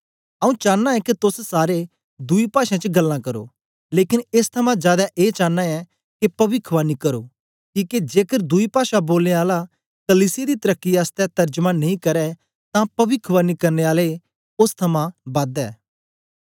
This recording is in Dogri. आऊँ चानां ऐं के तोस सारे दुई पाषें च गल्लां करो लेकन एस थमां जादै ए चानां ऐं के पविखवाणी करो किके जेकर दुई पाषा बोलने आला कलीसिया दी तरकी आसतै तरजमा नेई करै तां पविखवाणी करने आले ओस थमां बद ऐ